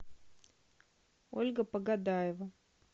ольга погодаева